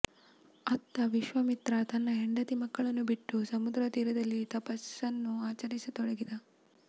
ಅತ್ತ ವಿಶ್ವಾಮಿತ್ರ ತನ್ನ ಹೆಂಡತಿ ಮಕ್ಕಳನ್ನು ಬಿಟ್ಟು ಸಮುದ್ರತೀರದಲ್ಲಿ ತಪಸ್ಸನ್ನು ಅಚರಿಸತೊಡಗಿದ